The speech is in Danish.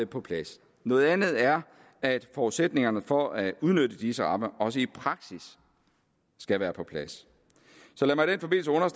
på plads noget andet er at forudsætningerne for at udnytte disse rammer også i praksis skal være på plads så lad